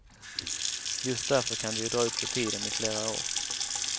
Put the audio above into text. Just därför kan det ju dra ut på tiden i flera år.